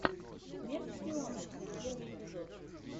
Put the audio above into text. смерть шпионам первый эпизод